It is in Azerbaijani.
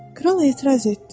Kral etiraz etdi.